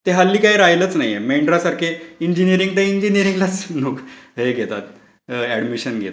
ते हल्ली काही राहिलंच नाहीये. मेंढरासारखे इंजीनीरिंग तर इंजीनीरिंग लाच लोकं येतात, अडमिशन घेतात.